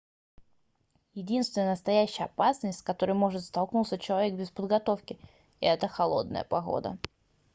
единственная настоящая опасность с которой может столкнуться человек без подготовки - это холодная погода